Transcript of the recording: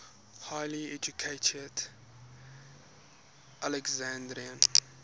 highly educated alexandrian